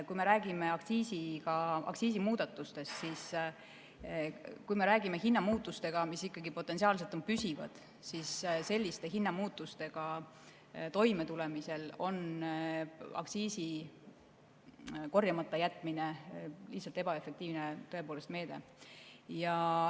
Kui me räägime aktsiisimuudatustest, kui me räägime hinnamuutustest, mis potentsiaalselt on püsivad, siis selliste hinnamuutustega toimetulemisel on aktsiisi korjamata jätmine lihtsalt ebaefektiivne meede.